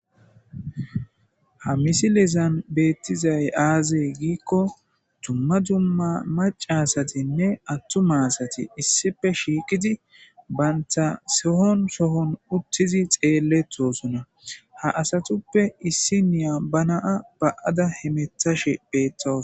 Ha misilezan beettizay aazee giikko dumma dumma macasatinne attuma asati issife shiiqidi baynta sehon sohon uttizi xeelletosona ha asatuppe issi niya ba naa ba'ada hemetashe betta.